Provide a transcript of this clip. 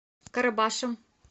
карабашем